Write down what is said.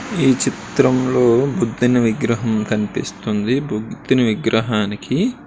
ఈ చిత్రంలో బుద్ధుని విగ్రహం కనిపిస్తుంది. బుద్ధుని విగ్రహానికి --